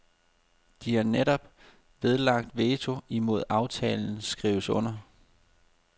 De har netop nedlagt veto imod at aftalen skrives under.